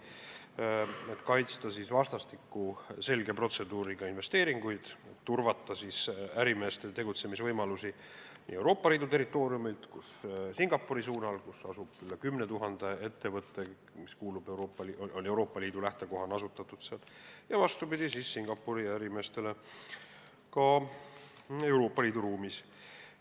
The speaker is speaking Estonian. Eesmärk on kaitsta vastastikku selge protseduuriga investeeringuid, turvata ärimeeste tegutsemisvõimalusi Singapuris, kus asub üle 10 000 ettevõtte, mille lähtekoht on Euroopa Liit ja mis on seal asutatud, ja vastupidi, turvata Singapuri ärimeeste tegutsemist Euroopa Liidu ruumis.